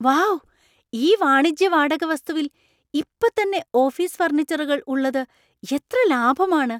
Wow ! ഈ വാണിജ്യ വാടക വസ്‌തുവിൽ ഇപ്പത്തന്നെ ഓഫീസ് ഫർണിച്ചറുകൾ ഉള്ളത് എത്ര ലാഭമാണ്.